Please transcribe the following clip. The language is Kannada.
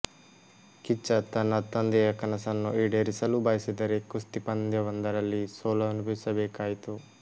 ಕಿಚ್ಚ ತನ್ನ ತಂದೆಯ ಕನಸನ್ನು ಈಡೇರಿಸಲು ಬಯಸಿದರೆ ಕುಸ್ತಿ ಪಂದ್ಯವೊಂದರಲ್ಲಿ ಸೋಲನುಭವಿಸಬೇಕಾಯಿತು